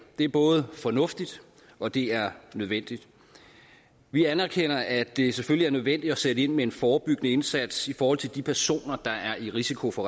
det er både fornuftigt og det er nødvendigt vi anerkender at det selvfølgelig er nødvendigt at sætte ind med en forebyggende indsats i forhold til de personer der er i risiko for